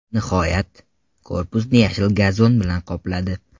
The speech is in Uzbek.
Nihoyat, korpusni yashil gazon bilan qopladi.